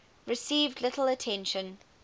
received little attention